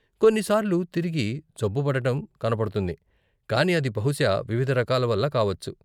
కొన్న్ని సార్లు తిరిగి జబ్బుపడటం కనపడుతుంది, కానీ అది బహుశా వివిధ రకాల వల్ల కావచ్చు.